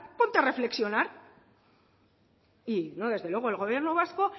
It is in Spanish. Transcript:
ponte a reflexionar y yo desde luego el gobierno vasco